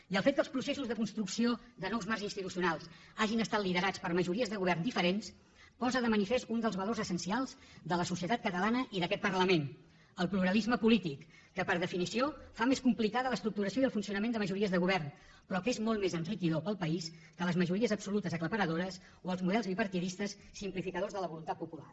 i el fet que els processos de construcció de nous marcs institucionals hagin estat liderats per majories de govern diferents posa de manifest un dels valors essencials de la societat catalana i d’aquest parlament el pluralisme polític que per definició fa més complicada l’estructuració i el funcionament de majories de govern però que és molt més enriquidor per al país que les majories absolutes aclaparadores o els models bipartidistes simplificadors de la voluntat popular